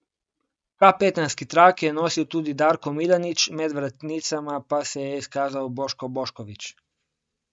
Kapetanski trak je nosil Darko Milanič, med vratnicama pa se je izkazal Boško Bošković.